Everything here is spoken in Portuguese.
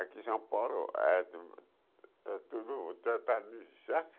Aqui em São Paulo é tudo é tudo tratado de